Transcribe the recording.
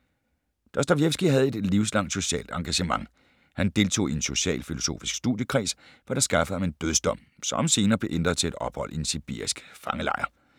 Dostojevskij havde et livslangt socialt engagement. Han deltog i en socialfilosofisk studiekreds, hvad der skaffede ham en dødsdom, som senere blev ændret til et ophold i en sibirisk fangelejr.